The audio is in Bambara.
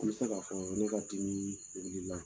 An bɛ se ka fɔ ne ka dimi de wilila